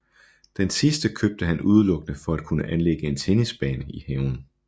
Den sidste købte han udelukkende for at kunne anlægge en tennisbane i haven